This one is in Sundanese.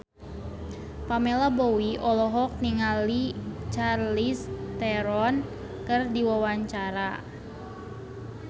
Pamela Bowie olohok ningali Charlize Theron keur diwawancara